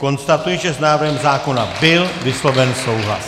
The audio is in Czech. Konstatuji, že s návrhem zákona byl vysloven souhlas.